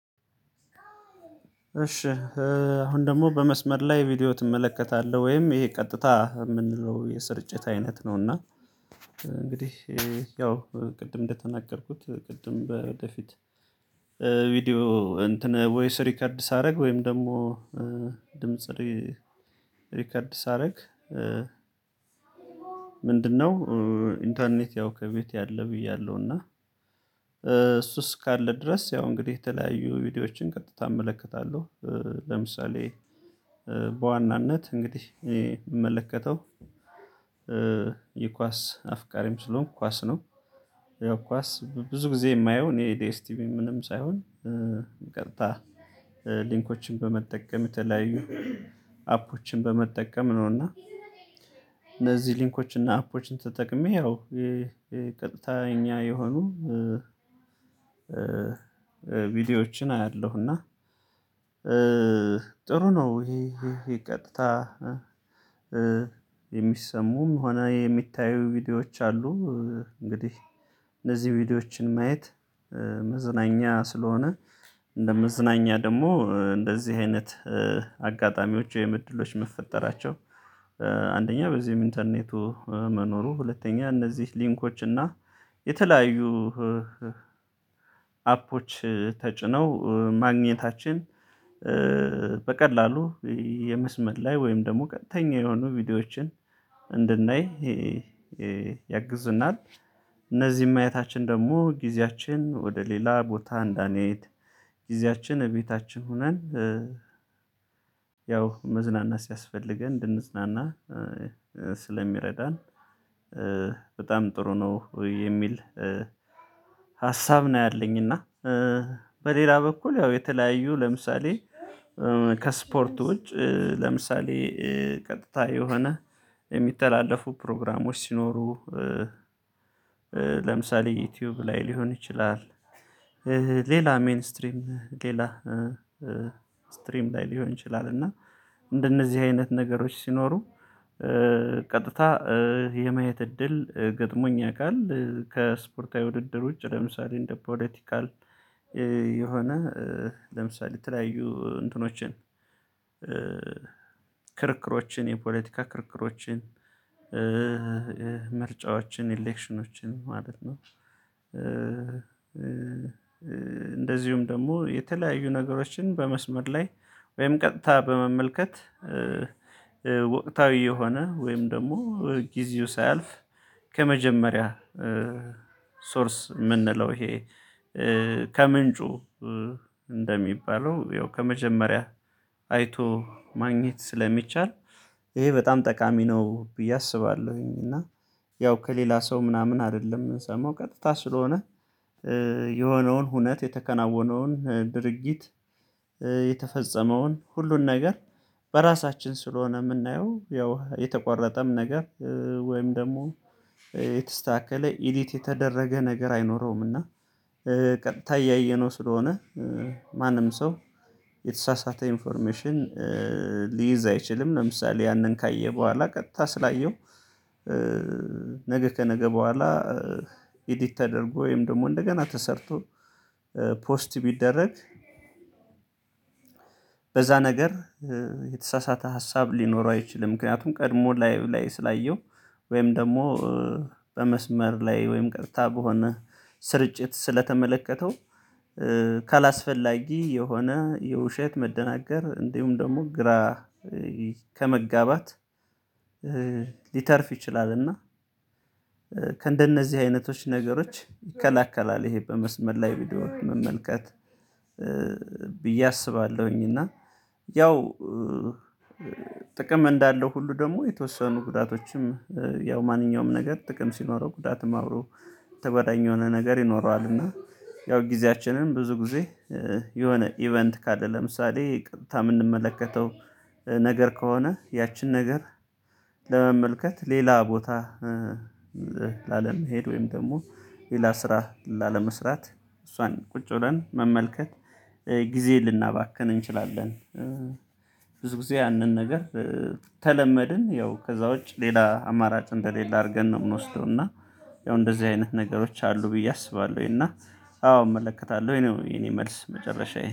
እሺ አሁን ደግሞ በመስመር ላይ ቪዲዮ ትመለከታለህ ወይም ይሄ ቀጥታ የምንለው የስርጭት አይነት ነውና። እንግዲህ ያው ቅድም እንደተናገርኩት ቅድም በፊት ቪዲዮ እንትን ወይስ ሪከርድ ሳደርግ ወይም ደግሞ ድምጽ ሪከርድ ሳደርግ ምንድነው? ኢንተርኔት ያው ከቤት ያለ ብያለሁ እና እሱ እካለ ድረስ ያው እንግዲህ የተለያዩ ቪዲዮዎችን ቀጥታ እመለከታለሁ። ለምሳሌ በዋናነት እንግዲህ እኔ እመለከተው የኳስ አፍቃሪም ስለሆንኩ ኳስ ነው። ያው ኳስ ብዙ ጊዜ የማየው እኔ ኤዲኤስቲቪ ምንም ሳይሆን ቀጥታ ሊንኮችን በመጠቀም የተለያዩ አፖችን በመጠቀም ነው እና እነዚህ ሊንኮች እና አፖችን ተጠቅሜ ያው ቀጥተኛ የሆኑ ቪዲዮዎችን አያለሁ እና ጥሩ ነው። ይሄ ቀጥታ የሚሰሙም ሆነ የሚታዩ ቪዲዮዎች አሉ። እንግዲህ እነዚህ ቪዲዮዎችን ማየት መዝናኛ ስለሆነ እንደ መዝናኛ ደግሞ እንደዚህ አይነት አጋጣሚዎች ወይም እድሎች መፈጠራቸው። አንደኛ በዚህም ኢንተርኔቱ መኖሩ ሁለተኛ እነዚህ ሊንኮች እና የተለያዩ አፖች ተጭነው ማግኘታችን በቀላሉ የመስመር ላይ ወይም ደግሞ ቀጥተኛ የሆኑ ቪዲዮዎችን እንድናይ ያግዙናል። እነዚህም ማየታችን ደግሞ ጊዜያችን ወደ ሌላ ቦታ እንዳንየት ጊዜያችን ቤታችን ሆነን ያው መዝናናት ሲያስፈልገን እንድንዝናና ስለሚረዳን በጣም ጥሩ ነው የሚል ሀሳብ ነው። ያለኝ እና በሌላ በኩል ያው የተለያዩ ለምሳሌ ከስፖርቶች ለምሳሌ ቀጥታ የሆነ የሚተላለፉ ፕሮግራሞች ሲኖሩ ለምሳሌ ዩቲዩብ ላይ ሊሆን ይችላል። ሌላ ሜን ስትሪም ሌላ ስትሪም ላይ ሊሆን ይችላል እና እንደነዚህ አይነት ነገሮች ሲኖሩ ቀጥታ የማየት እድል ገጥሞኝ ያውቃል ከስፖርታዊ ውድድር ውጭ ለምሳሌ እንደ ፖለቲካል የሆነ ለምሳሌ የተለያዩ እንትኖችን ክርክሮችን የፖለቲካ ክርክሮችን ምርጫዎችን ኢሌክሽኖችን ማለት ነው። እንደዚሁም ደግሞ የተለያዩ ነገሮችን በመስመር ላይ ወይም ቀጥታ በመመልከት ወቅታዊ የሆነ ወይም ደግሞ ጊዜው ሳያልፍ ከመጀመሪያ ሶርስ ምንለው ይሄ ከምንጩ እንደሚባለው ያው ከመጀመሪያ አይቶ ማግኘት ስለሚቻል ይሄ በጣም ጠቃሚ ነው ብዬ አስባለሁኝ። እና ያው ከሌላ ሰው ምናምን አይደለም ሰሞን ቀጥታ ስለሆነ የሆነውን ሁነት የተከናወነውን ድርጊት የተፈጸመውን ሁሉን ነገር በራሳችን ስለሆነ የምናየው ያው የተቆረጠም ነገር ወይም ደግሞ የተስተካከለ ኢዲት የተደረገ ነገር አይኖረውም። እና ታያየው ስለሆነ ማንም ሰው የተሳሳተ ኢንፎርሜሽን ሊይዝ አይችልም። ለምሳሌ ያንን ካየ በኋላ ቀጥታ ስላየው ነገ ከነገ በኋላ ኤዲት ተደርጎ ወይም ደግሞ እንደገና ተሰርቶ ፖስት ቢደረግ በዛ ነገር የተሳሳተ ሀሳብ ሊኖረው አይችልም። ምክንያቱም ቀድሞ ላይ ላይ ስላየው ወይም ደግሞ በመስመር ላይ ወይም ቀጥታ በሆነ ስርጭት ስለተመለከተው ካላስፈላጊ የሆነ የውሸት መደናገር እንዲሁም ደግሞ ግራ ከመጋባት ሊተርፍ ይችላል። እና ከእንደነዚህ አይነቶች ነገሮች ይከለክላል ይሄ በመስመር ላይ ቪዲዮ መመልከት ብዬ አስባለሁኝ። እና ያው እንዳለው ሁሉ ደግሞ የተወሰኑ ጉዳቶችም ያው ማንኛውም ነገር ጥቅም ሲኖረው ጉዳትም አብሮ የተባለኝ የሆነ ነገር ይኖረዋል። እና ያው ጊዜያችንን ብዙ ጊዜ የሆነ ኢቨንት ካለ ለምሳሌ ታም የምንመለከተው ነገር ከሆነ ያችን ነገር ለመመልከት ሌላ ቦታ ላለመሄድ ወይም ደግሞ ሌላ ስራ ላለመስራት እሷን ቁጭ ብለን መመልከት ጊዜ ልናባክን እንችላለን። ብዙ ጊዜ ያንን ነገር ተለመድን ያው ከዛ ውጭ ሌላ አማራጭ እንደሌለ አድርገን ነው የምንወስደው እና ያው እንደዚህ አይነት ነገሮች አሉ ብዬ አስባለሁኝ እና አዎ እመለከታለሁኝ ነው የኔ መልስ። መጨረሻዬ